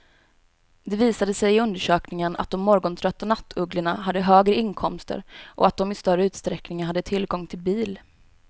Det visade sig i undersökningen att de morgontrötta nattugglorna hade högre inkomster och att de i större utsträckning hade tillgång till bil.